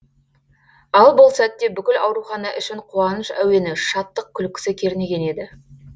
ал бұл сәтте бүкіл аурухана ішін қуаныш әуені шаттық күлкісі кернеген еді